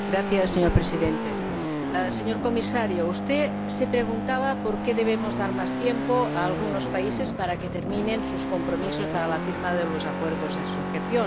Señor Presidente, señor Comisario, usted se preguntaba por qué debemos dar más tiempo a algunos países para que cumplan sus compromisos para la firma de los acuerdos de asociación.